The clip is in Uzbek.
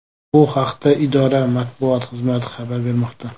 Bu haqda idora matbuot xizmati xabar bermoqda .